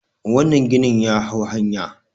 wannan ginin ya hau hanya